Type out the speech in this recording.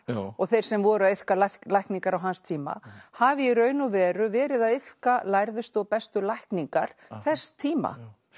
og þeir sem voru að iðka lækningar á hans tíma hafi í raun og veru verið að iðka lærðustu og bestu lækningar þess tíma